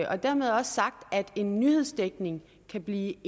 har dermed også sagt at en nyhedsdækning kan blive